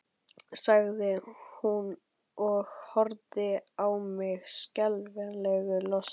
sagði hún og horfði á mig skelfingu lostin.